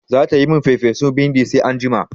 Zata yi min farfesun bindin sa anjima.